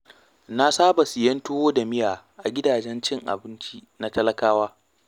Na saba siyan tuwo da miya a gidajen cin abinci na talakawa.